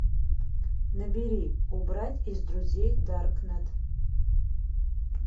набери убрать из друзей даркнет